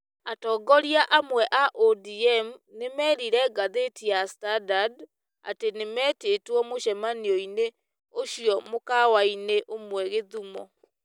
Atongoria amwe a ODM nĩ merire ngathĩti ya Standard atĩ nĩ metĩtwo mũcemanio-inĩ ũcio mũkawa-inĩ ũmwe Gĩthumũ.